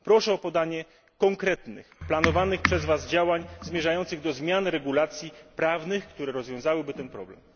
Proszę o podanie konkretnych planowanych przez Was działań zmierzających do zmian regulacji prawnych, które rozwiązałyby ten problem.